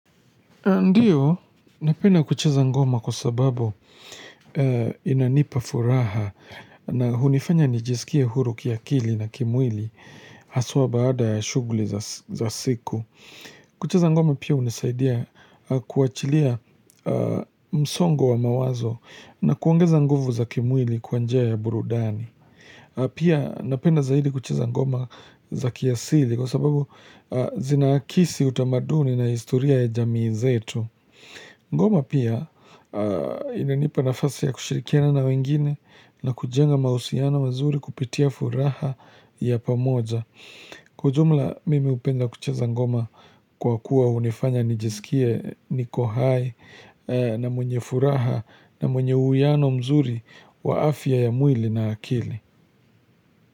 Ndiyo, napenda kucheza ngoma kwa sababu inanipa furaha na hunifanya nijisikie huru kiakili na kimwili haswa baada ya shuguli za siku. Kucheza ngoma pia unisaidia kuachilia msongo wa mawazo na kuongeza nguvu za kimwili kwa njia ya burudani. Pia napenda zaidi kucheza ngoma za kiasili kwa sababu zinaakisi utamaduni na istoria ya jamii zetu Ngoma pia inanipa nafasi ya kushirikiana na wengine na kujenga mausiano wazuri kupitia furaha ya pamoja Kwa jumla mimi hupenda kucheza ngoma kwa kuwa unifanya nijisikie niko hai na mwenye furaha na mwenye uiano mzuri wa afya ya mwili na akili.